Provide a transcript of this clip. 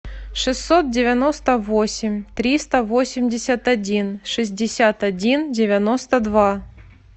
шестьсот девяносто восемь триста восемьдесят один шестьдесят один девяносто два